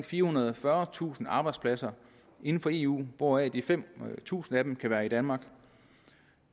firehundrede og fyrretusind arbejdspladser inden for eu hvoraf de fem tusind kan være i danmark